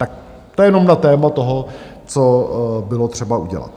Tak to jenom na téma toho, co bylo třeba udělat.